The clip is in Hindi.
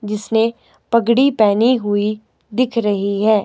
जिसने पगड़ी पहनी हुई दिख रही है।